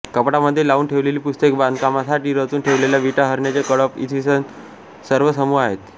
कपाटामध्ये लावून ठेवलेली पुस्तके बांधकामासाठी रचून ठेवलेल्या विटा हरणाचे कळप इ हे सर्व समूह आहेत